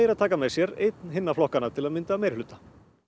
að taka með sér einn hinna flokkanna til að mynda meirihluta